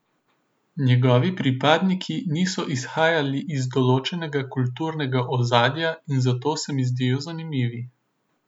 Njegovi pripadniki niso izhajali iz določenega kulturnega ozadja in zato se mi zdijo zanimivi.